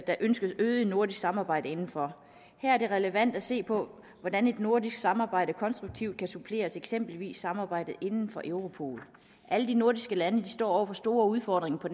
der ønskes øget nordisk samarbejde inden for her er det relevant at se på hvordan et nordisk samarbejde konstruktivt kan supplere eksempelvis samarbejdet inden for europol alle de nordiske lande står med store udfordringer på